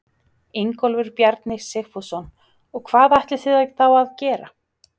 Ingólfur Bjarni Sigfússon: Og hvað ætlið þið þá að gera?